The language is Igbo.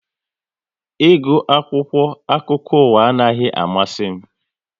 Ị gu akwụkwọ akụkọ ụwa anaghị amasị m